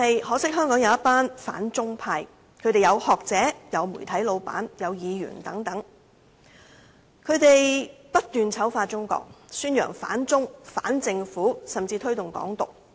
可惜，香港有一群反中派，當中有學者、媒體老闆及議員等，他們不斷醜化中國，宣揚反中、反政府，甚至推動"港獨"。